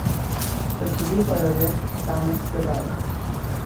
Zakrivil pa jo je Tamas Kadar.